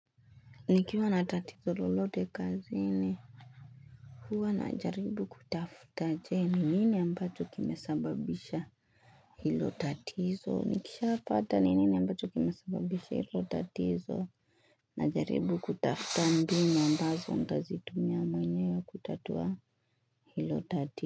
Nikiwa na tatizo lolote kazini huwa najaribu kutafuta je? Ni nini ambacho kimesababisha hilo tatizo? Nikishapata ni nini ambacho kimesababisha hilo tatizo najaribu kutafuta mbinu ambazo nitazitumia mwenyewe kutatua hilo.